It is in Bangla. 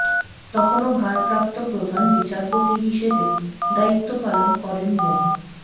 তখনও ভারপ্রাপ্ত প্রধান বিচারপতি হিসেবে দায়িত্ব পালন করেন মো